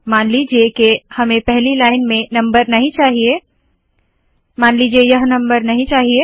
मान लीजिए के हमें पहली लाइन में नम्बर नहीं चाहिए मान लीजिए यह नम्बर नहीं चाहिए